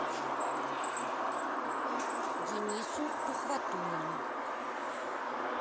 денису тухватуллину